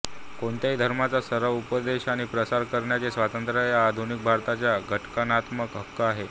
कोणत्याही धर्माचा सराव उपदेश आणि प्रसार करण्याचे स्वातंत्र्य हा आधुनिक भारतात घटनात्मक हक्क आहे